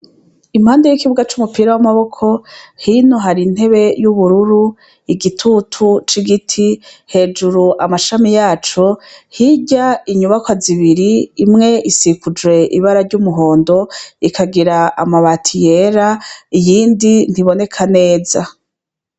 Impande yikibuga cumupira wamaboko hino harintebe yuburur igitutu cigiti hejuru amashami yaco hirya inyubakwa zibiri imwe isikucujwe ibara ryumuhondo ikagira amabati yera iyindi ntiboneka neza